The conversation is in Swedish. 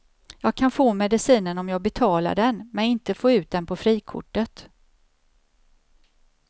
Jag kan få medicinen om jag betalar den, men inte få ut den på frikortet.